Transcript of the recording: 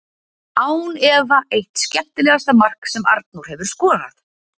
Án efa eitt skemmtilegasta mark sem Arnór hefur skorað!